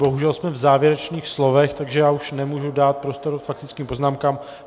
Bohužel jsme v závěrečných slovech, takže já už nemůžu dát prostor k faktickým poznámkám.